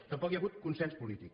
tampoc hi ha hagut consens polític